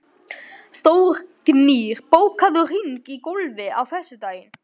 Þórgnýr, bókaðu hring í golf á föstudaginn.